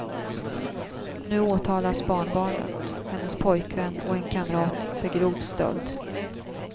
Nu åtalas barnbarnet, hennes pojkvän och en kamrat för grov stöld.